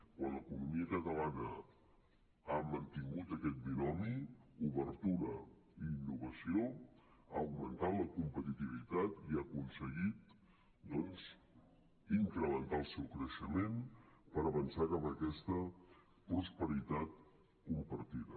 quan l’economia catalana ha mantingut aquest binomi obertura i innovació ha augmentat la competitivitat i ha aconseguit doncs incrementar el seu creixement per avançar cap a aquesta prosperitat compartida